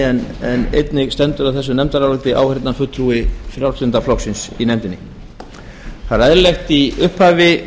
en einnig standa að þessu nefndaráliti áheyrnarfulltrúi frjálslynda flokksins það er eðlilegt í upphafi